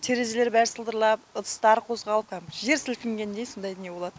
терезелер бәрі сылдырлап ыдыстар қозғалып кәдімгідей жер сілкінгендей сондай не болады